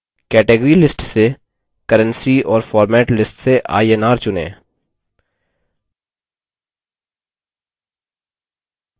category list से currency और format list से inr चुनें